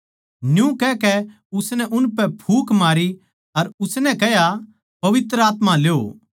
न्यू कहकै उसनै उनपै फूँक मारी अर उसनै कह्या पवित्र आत्मा ल्यो